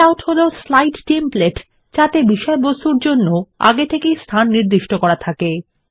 layout হলো slide template যাতে বিষয়বস্তুর জন্য আগে থেকেই স্থান নির্দিষ্ট করা থাকে